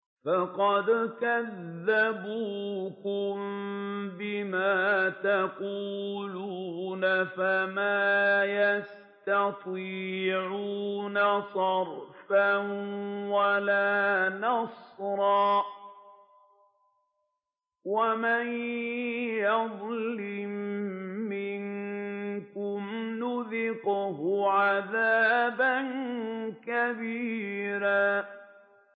فَقَدْ كَذَّبُوكُم بِمَا تَقُولُونَ فَمَا تَسْتَطِيعُونَ صَرْفًا وَلَا نَصْرًا ۚ وَمَن يَظْلِم مِّنكُمْ نُذِقْهُ عَذَابًا كَبِيرًا